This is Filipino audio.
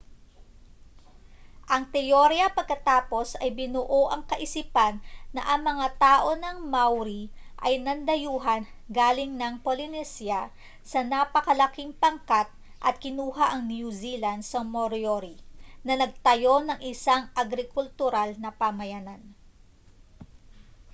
ang teorya pagkatapos ay binuo ang kaisipan na ang mga tao ng maori ay nandayuhan galing ng polynesia sa napakalaking pangkat at kinuha ang new zealand sa moriori na nagtayo ng isang agrikultural na pamayanan